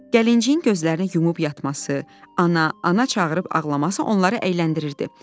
Gəlinciyin gözlərini yumub yatması, ana, ana çağırıb ağlaması onları əyləndirirdi.